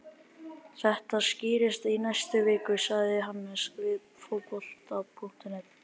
Þetta skýrist á næstu vikum, sagði Hannes við Fótbolta.net.